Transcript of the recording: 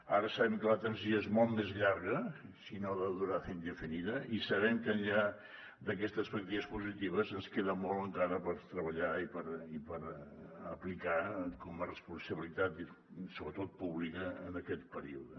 ara sabem que la transició és molt més llarga si no de durada indefinida i sabem que enllà d’aquestes perspectives positives ens queda molt encara per treballar i per aplicar com a responsabilitat sobretot pública en aquest període